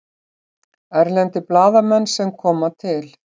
Erlendir blaðamenn sem koma til